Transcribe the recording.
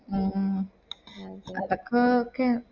മ് ഹ് അതൊക്കെ okay യാ